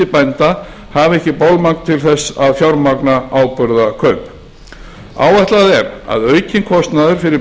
bænda hafi ekki bolmagn til þess að fjármagna áburðarkaup áætlað er að aukinn kostnaður við